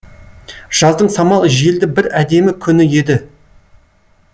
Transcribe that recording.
жаздың самал желді бір әдемі күні еді